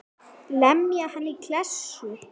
Lemja hann í klessu.